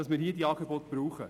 Wir brauchen diese Angebote.